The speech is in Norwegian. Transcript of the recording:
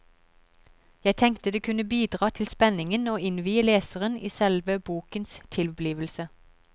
Jeg tenkte det kunne bidra til spenningen å innvie leseren i selve bokens tilblivelse.